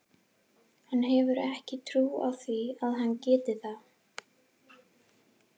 Hann hefur ekki trú á því að hann geti það.